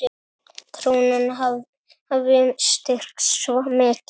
Krónan hafi styrkst svo mikið.